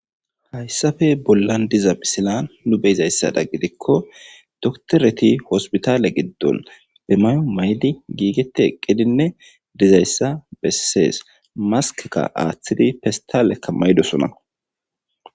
Haysappe bollan de'iza misilen nu be'izayssa gidikon dokitereti hospitale gidon be mayo mayidi giigeti eqidinne dizaysa besses. Maskeka athidinne pestaleka mayidosona.